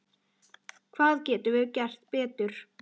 Hvað getum við gert betur?